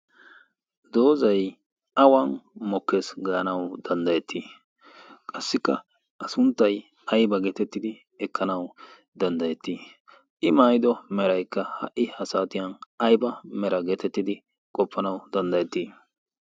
dozay awan mokkes gaanawu danddayettii? qassikka a sunttay ayba geetettidi ekkanawu dandayetii, i maayido meraaka ha'i ha saatiyan ayba mera giidi ekkanawu dandayetii?